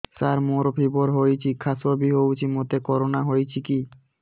ସାର ମୋର ଫିବର ହଉଚି ଖାସ ବି ହଉଚି ମୋତେ କରୋନା ହେଇଚି କି